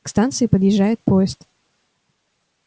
к станции подъезжает поезд